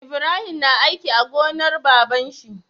Ibrahim na aiki a gonar baban shi